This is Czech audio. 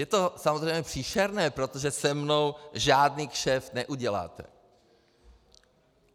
Je to samozřejmě příšerné, protože se mnou žádný kšeft neuděláte.